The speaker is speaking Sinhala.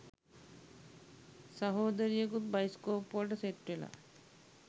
සහෝදරියකුත් බයිස්කෝප් වලට සෙට් වෙලා